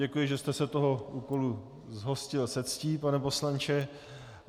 Děkuji, že jste se toho úkolu zhostil se ctí, pane poslanče.